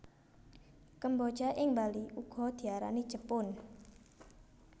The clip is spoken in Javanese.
Kemboja ing Bali uga diarani jepun